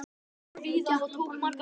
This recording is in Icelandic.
Hann fór víða og tók margar myndir.